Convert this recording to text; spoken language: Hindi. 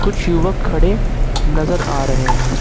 कुछ युवक खड़े नजर आ रहे हैं।